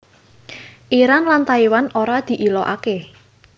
Iran lan Taiwan ora diilokaké